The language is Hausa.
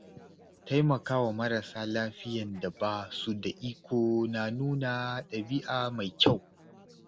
Taimakawa marasa lafiyan da ba su da iko na nuna ɗabi’a mai kyau.